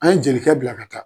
An ye jelikɛ bila ka taa